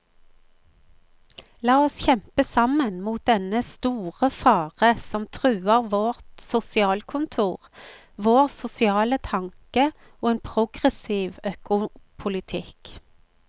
La oss kjempe sammen mot dennne store fare som truer vårt sosialkontor, vår sosiale tanke og en progressiv økopolitikk.